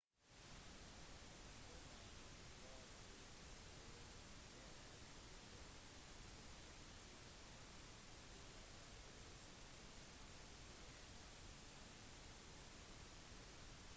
når man forsøker å gjøre en video om til dvd-format så er overscan et av de alminnelige problemene